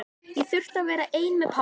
Ég þurfti að vera einn með pabba.